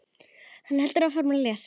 Hann heldur áfram að lesa